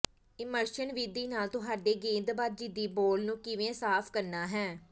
immersion ਵਿਧੀ ਨਾਲ ਤੁਹਾਡੀ ਗੇਂਦਬਾਜ਼ੀ ਦੀ ਬਾਲ ਨੂੰ ਕਿਵੇਂ ਸਾਫ ਕਰਨਾ ਹੈ